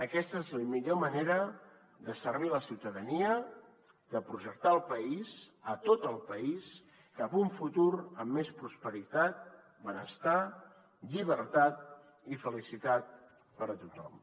aquesta és la millor manera de servir la ciutadania de projectar el país tot el país cap a un futur amb més prosperitat benestar llibertat i felicitat per a tothom